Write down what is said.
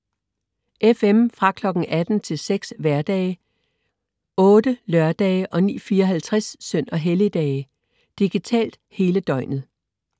FM: Fra kl. 18.00 til 06.00 hverdage, 08.00 lørdage og 09.54 søn- og helligdage. Digitalt: Hele døgnet